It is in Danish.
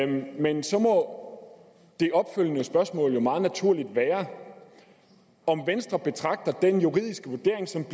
men så må det opfølgende spørgsmål jo meget naturligt være om venstre betragter den juridiske vurdering som